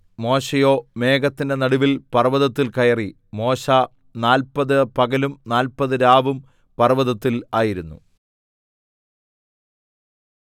മോശെയോ മേഘത്തിന്റെ നടുവിൽ പർവ്വതത്തിൽ കയറി മോശെ നാല്പത് പകലും നാല്പത് രാവും പർവ്വതത്തിൽ ആയിരുന്നു